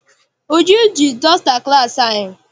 Uju ji dọsta class anyị.